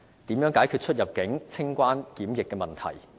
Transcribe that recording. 如何解決出入境、清關及檢疫問題？